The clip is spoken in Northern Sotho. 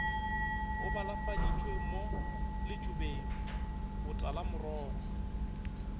e balafaditšwe mo letšobeng botalamorogo